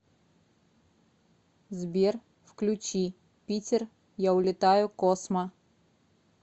сбер включи питер я улетаю космо